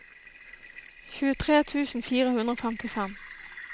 tjuetre tusen fire hundre og femtifem